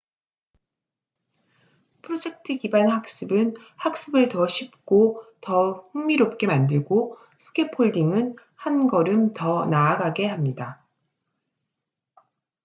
프로젝트 기반 학습은 학습을 더 쉽고 더 흥미롭게 만들고 스캐폴딩은 한 걸음 더 나아가게 합니다